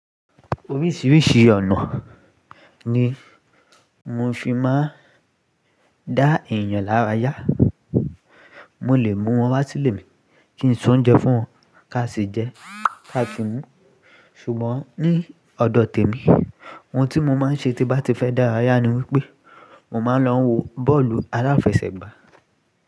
Oríṣiríṣi ọ̀nà ni mo fi máa ń dá èèyàn lára yá. Mo lè mú wọn wá sílé mi kí n se oúnjẹ fún wọn, ká sì jẹ, ká sì mú. Ṣùgbọ́n ní ọ̀dọ̀ tèmi ohun tí mo máa ń ṣe tí bá ti fẹ́ dára yá ni wípé mo máa ń lọ wo bọ́ọ̀lù aláfẹsẹ̀gbá.